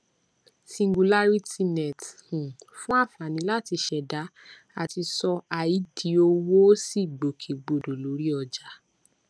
cs] singularitynet um fún àǹfààní láti ṣẹdá àti sọ ai di owó ó sì gbòkègbodò lórí ọjà